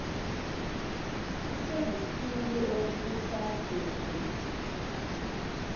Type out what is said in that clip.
kusekukhulu okusazokwen ziwa